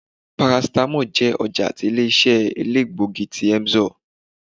paracetamol jẹ ọja tí ilé-iṣẹ́ èlégbógí tí emzor